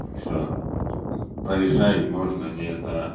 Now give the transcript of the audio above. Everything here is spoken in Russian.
все порешаем можно нет а